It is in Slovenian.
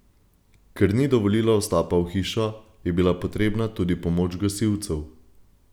Ker ni dovolila vstopa v hišo, je bila potrebna tudi pomoč gasilcev.